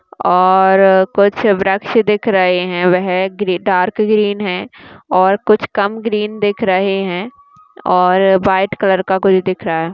और कुछ वृक्ष दिख रहें हैं वह ग्रे डार्क ग्रीन हैं और कुछ कम ग्रीन दिख रहें हैं और वाइट कलर का कुछ दिख रहा है।